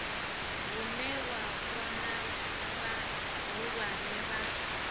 hune wa vhona vhahulwane vha